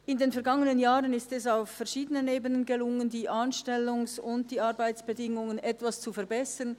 In den vergangenen Jahren ist es auf verschiedenen Ebenen gelungen, die Anstellungs- und Arbeitsbedingungen etwas zu verbessern.